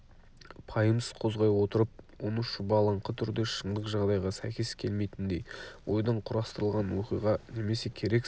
пайымсыз қозғай отырып оны шұбалаңқы түрде шындық жағдайға сәйкес келмейтіндей ойдан құрастырылған оқиға немесе керексіз